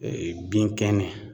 Ee bin kɛnɛ